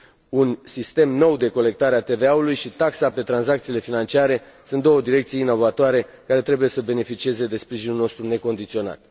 Un sistem nou de colectare a TVA ului și taxa pe tranzacțiile financiare sunt două direcții inovatoare care trebuie să beneficieze de sprijinul nostru necondiționat.